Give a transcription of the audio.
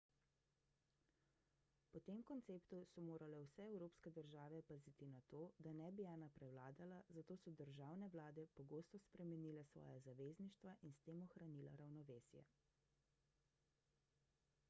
po tem konceptu so morale vse evropske države paziti na to da ne bi ena prevladala zato so državne vlade pogosto spremenile svoja zavezništva in s tem ohranila ravnovesje